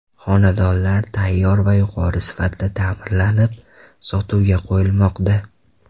Xonadonlar tayyor va yuqori sifatda ta’mirlanib sotuvga qo‘yilmoqda.